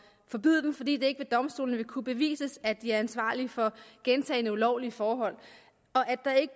forbyde den fordi det ikke ved domstolene vil kunne bevises at de er ansvarlige for gentagne ulovlige forhold og